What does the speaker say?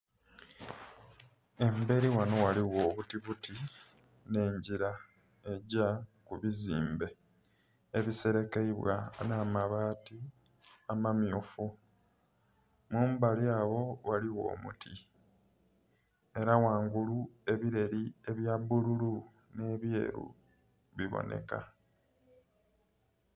Emberi ghano waliwo obutibuti ne njira ejja ku bizimbe ebiserekeibwa na mabaati amamyufu. Mumbali agho waliwo omuti era ghangulu ebireri ebya bululu ne byeeru biboneka